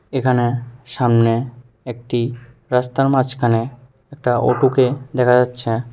এখানে সামনে একটি রাস্তার মাঝখানে একটা অটো কে দেখা যাচ্ছে।